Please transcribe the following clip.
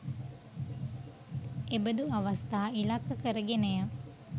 එබඳු අවස්ථා ඉලක්ක කර ගෙනය.